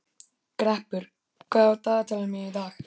Greppur, hvað er á dagatalinu mínu í dag?